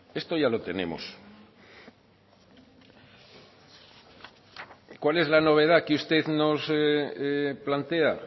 esto ya lo tenemos cuál es la novedad que usted nos plantea